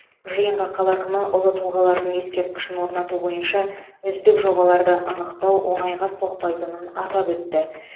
жиынға қала әкімі ұлы тұлғалардың ескерткішін орнату бойынша үздік жобаларды анықтау оңайға соқпайтынын атап өтті